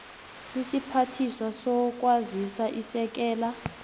isiphathiswa sezokwazisa isekela